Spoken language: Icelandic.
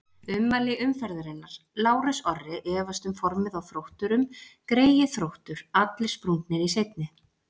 Ummæli umferðarinnar: Lárus Orri efast um formið á Þrótturum Greyið Þróttur, allir sprungnir í seinni.